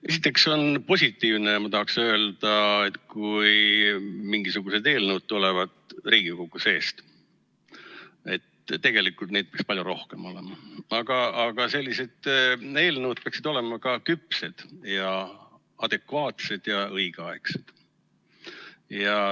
Esiteks ma tahaksin öelda, et on positiivne, kui mingisugused eelnõud tulevad Riigikogu seest ja tegelikult neid peaks palju rohkem olema, aga sellised eelnõud peaksid olema ka küpsed ja adekvaatsed ja õigeaegsed.